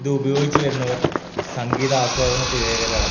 ഇത് ഉപയോഗിച്ച് വരുന്നവർ സംഗീത ആസ്വാദന പ്രീയകരാണ് .